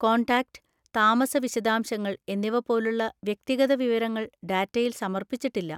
Contact, താമസ വിശദാംശങ്ങൾ എന്നിവ പോലുള്ള വ്യക്തിഗത വിവരങ്ങൾ ഡാറ്റയിൽ സമർപ്പിച്ചിട്ടില്ല.